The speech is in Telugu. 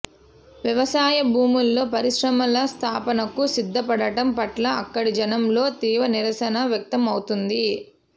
వ్యవసాయ భూముల్లో పరిశ్రమల స్థాపనకు సిద్దపడటం పట్ల అక్కడి జనంలో తీవ్ర నిరసన వ్యక్తమవుతోంది